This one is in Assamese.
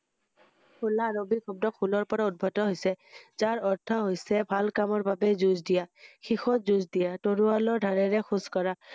হেলাৰ আৰবিক শব্দ হুলৰ পৰা উদ্বৱত হৈছে যাৰ অৰ্থ হৈছে ভাল কামৰ বাবে যুজ দিয়া শেষত যুজঁ দিয়া, তৰৱালৰ